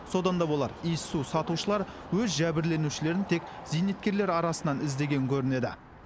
содан да болар иіссу сатушылар өз жәбірленушілерін тек зейнеткерлер арасынан іздеген көрінеді